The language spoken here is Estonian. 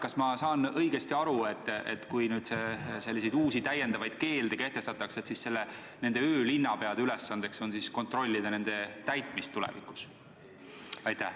Kas ma saan õigesti aru, et kui uusi keelde kehtestatakse, siis öölinnapea ülesanne tulevikus on kontrollida nendest kinnipidamist?